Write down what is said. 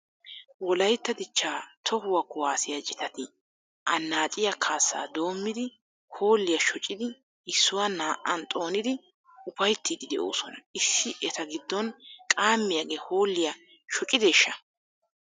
Wolaytta dichchaa tohuwan kuwaasiya citati annaacciya kaassaa doommidi hoolliya shoccidi issuwa naa'an xoonidi upayittiiddi de'oosona. Issi eta giddon qaamiyage hoolliya shoccideeshsha?